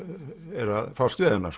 er að fást við hana